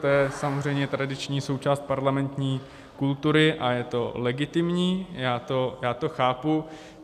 To je samozřejmě tradiční součást parlamentní kultury a je to legitimní, já to chápu.